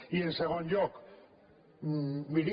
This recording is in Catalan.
i en segon lloc miri